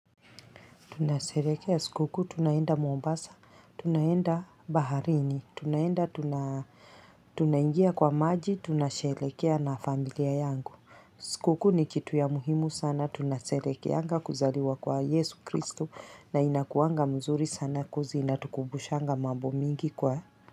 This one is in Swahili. Tunasherehekea sikuku, tunaenda Mombasa, tunaenda baharini, tunaenda tunaingia kwa maji, tunasherehekea na familia yangu. Sikukuu ni kitu ya muhimu sana, tunasherehekeanga kuzaliwa kwa Yesu Kristo na inakuanga mzuri sana coz inatukumbushanga mambo mingi kwa.